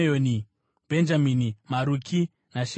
Bhenjamini, Maruki naShemaria,